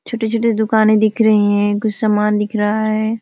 छोटी-छोटी दुकाने दिख रही हैं और कुछ समान दिख रहा है।